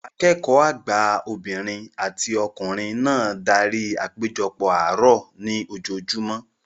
Akẹ́kọ̀ọ́ àgbà obìnrin àti ọkùnrin náà darí apejopo àárọ̀ ní ojoojúmọ́